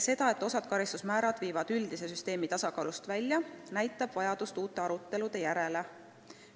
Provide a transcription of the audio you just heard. See, et osa pakutud karistusmäärasid viiks üldise süsteemi tasakaalust välja, näitab vajadust uute arutelude järele.